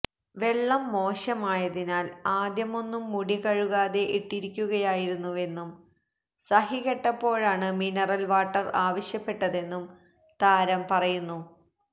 വെള്ളം മോശമായതിനാല് ആദ്യമൊന്നും മുടികഴുകാതെ ഇട്ടിരിക്കുകയായിരുന്നുവെന്നും സഹികെട്ടപ്പോഴാണ് മിനറല് വാട്ടര് ആവശ്യപ്പെട്ടതെന്നും താരം പറയുന്നു